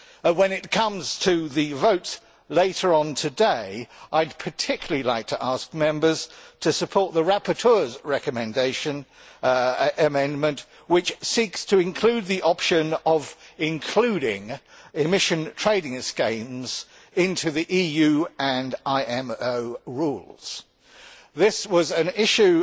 When it comes to the votes later on today, I would particularly like to ask Members to support the rapporteur's amendment which seeks to include the option of including emission trading schemes in the EU and IMO rules. This was an issue